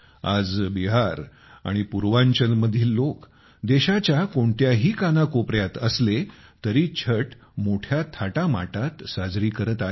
आज बिहार आणि पूर्वांचलमधील लोक देशाच्या कोणत्याही कानाकोपऱ्यात असले तरी छठ मोठ्या थाटामाटात साजरी करत आहेत